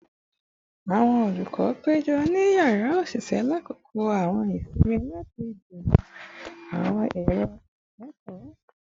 Awọn olukọ pejọ ni yara oṣiṣẹ lakoko awọn isinmi lati jiroro awọn ero ikẹkọ